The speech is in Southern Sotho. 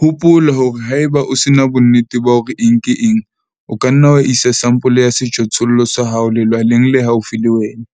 Hopola hore ha eba o se na bonnete bah ore eng ke eng, o ka nna wa isa sampole ya sejothollo sa hao lelwaleng le haufi le wena,